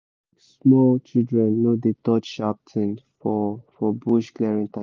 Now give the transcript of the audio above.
small children no dey touch sharp thing for for bush clearing time